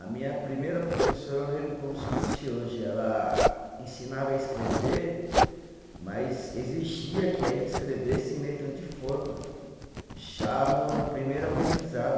A minha primeira professora, eu lembro como se fosse hoje, ela ensinava a escrever, mas exigia que a gente escrevesse em letra de forma, já no no primeiro aprendizado.